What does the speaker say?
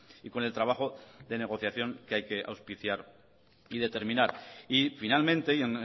y con el trabajo de negociación que hay auspiciar y determinar y finalmente y